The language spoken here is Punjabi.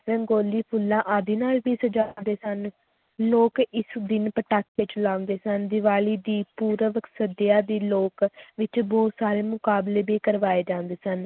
ਰੰਗੋਲੀ ਫੁੱਲਾਂ ਆਦਿ ਨਾਲ ਵੀ ਸਜਾਉਂਦੇ ਸਨ, ਲੋਕ ਇਸ ਦਿਨ ਪਟਾਕੇ ਚਲਾਉਂਦੇ ਸਨ ਦੀਵਾਲੀ ਦੀ ਪੂਰਬ ਸੰਧਿਆ ਦੀ ਲੋਕ ਵਿੱਚ ਬਹੁਤ ਸਾਰੇ ਮੁਕਾਬਲੇ ਵੀ ਕਰਵਾਏ ਜਾਂਦੇ ਸਨ